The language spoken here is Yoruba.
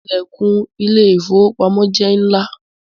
The door of the bank is big